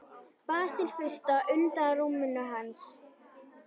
Basil fursta, undan rúminu hans.